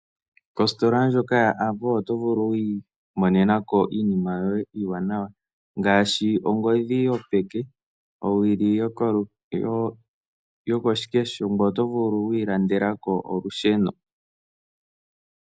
Ositola ndjoka yaAvo oto vulu okwiimonenako iinima yoye iiwanawa ngaashi ongodhi yopeke, owili yokoshikesho ngoye oto vulu woo okwiilandelako olusheno.